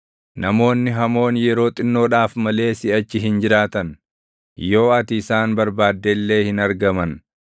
Namoonni hamoon yeroo xinnoodhaaf malee siʼachi hin jiraatan; yoo ati isaan barbaadde illee hin argaman.